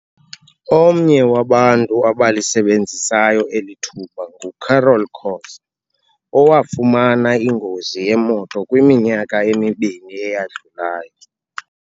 Omnye wabantu abalisebenzisayo eli thuba nguCarol Khoza, owafumana ingozi yemoto kwiminyaka emibini eyadlulayo.